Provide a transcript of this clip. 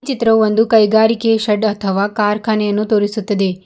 ಈ ಚಿತ್ರವು ಒಂದು ಕೈಗಾರಿಕೆಯ ಶೆಡ್ ಅಥವಾ ಕಾರ್ಖಾನೆಯನ್ನು ತೋರಿಸುತ್ತದೆ.